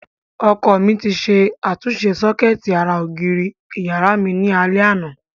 Ọkọ mi ti ṣe àtúnṣe sọ́kẹ́ẹ̀tì ara ògiri ìyàrá mi ní alẹ́ àná.